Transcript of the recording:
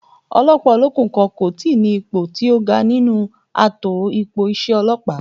Ọlọ́pàá olókùn kan kò tíi ní ipò tí ó ga nínú ààtò ipò iṣẹ́ ọlọ́pàá